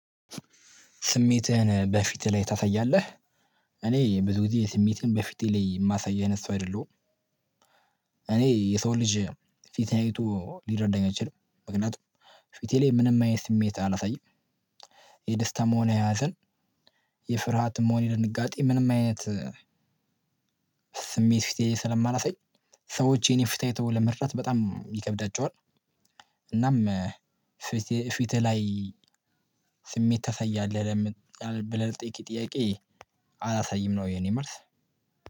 ስሜትህን በፊትህ ላይ ታሳያለህ? እኔ ብዙ ጊዜ ስሜትን በፊቴ ላይ የማሳይ አይነት ሰው አይደለሁም። እኔ የሰው ልጅ ፊት አይቶ ሊረዳኝ አይችልም። ምክንያቱም ፊቴ ላይ ምንም አይነት ስሜት አላሳይም። የደስታ መሆን ያሃዘን የፍርሃት ሆነ የድንጋጤ ምንም አይነት ስሜት ፊቴ ስለማላሳይ ሰዎች የኔ ፊት አይተው ለመርዳት በጣም ይከብዳቸዋል። እናም ፊቴ ፊትህ ላይ ስሜት ታሰያለህ? ብለህ ለጠየከኝ ጥያቄ አላሳይም ነው የኔ መልስ።